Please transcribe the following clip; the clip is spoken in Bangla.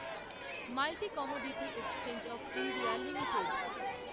multi commodity exchange of India limited